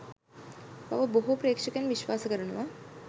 බව බොහෝ ප්‍රේක්ශකයින් විශ්වාස කරනවා.